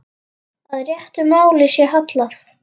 Að réttu máli sé hallað.